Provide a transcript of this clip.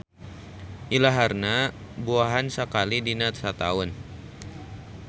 Ilaharna buahan sakali dina sataun.